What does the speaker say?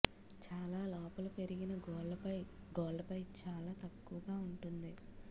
చాలా లోపల పెరిగిన గోళ్ళపై గోళ్ళపై చాలా తక్కువగా ఉంటుంది